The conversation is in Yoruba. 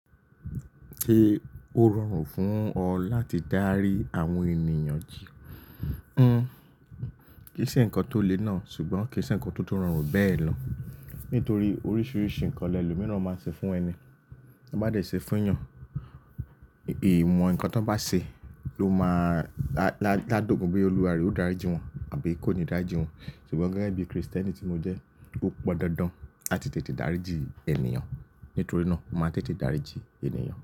Se ó rọrùn fún ọ láti dárí àwọn ènìyàn yiì. N, kì í ṣe ǹnkan tó le náà, ṣùgbọ́n kì í ṣe ǹnkan tó tun rọrùn bẹ́ẹ̀ lọ. Nítorí oríṣiiríṣii nnkan lẹlòmíi máa ń ṣe fún ẹni. N bá dẹ̀ ṣe fún yàn, ìwọn ǹkan tí wọ́n bá ṣe ló máa lá do gun boya Olúwa rẹ̀ o dári jì wọ́n àbí kò ní dári jì wọ́n. Ṣùgbọ́n gẹ́gẹ́ bí Kristẹni tí mo jẹ́, ó pọn dandan láti tètè dáríji ènìyàn. Nítorí náà, mo máa tètè dáríji ènìyàn.